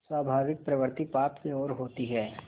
स्वाभाविक प्रवृत्ति पाप की ओर होती है